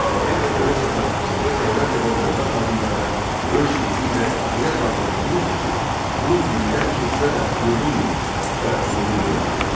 Sabir vətəni satan, xalqa xəyanət edən dövlət xadimlərinə öz şeiri ilə elə damğa vurmuşdu ki, bu illər keçsə də unudulmur və unudulmayacaqdır.